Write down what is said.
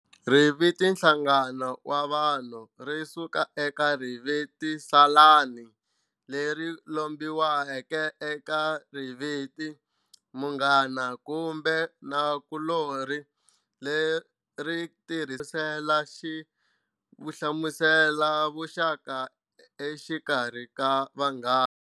Riviti "Nhlangano wa Vanhu" risuka eka riviti ra salani, leri lombiweke eka riviti, "Mughana, kumbe Nakulori", leri tirhisela ku hlamusela vuxaka exikarhi ka vanghana.